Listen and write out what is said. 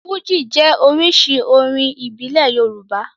Fújì jẹ́ oríṣi orin ìbílẹ̀ Yorùbá.